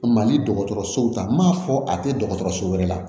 Mali dɔgɔtɔrɔsow ta m'a fɔ a tɛ dɔgɔtɔrɔso wɛrɛ la